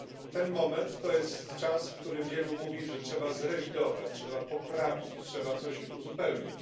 Ten moment to jest czas, w którym wielu mówi, że trzeba zrewidować, trzeba poprawić, trzeba coś uzupełnić.